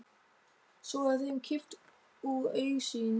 Svo er þeim kippt úr augsýn.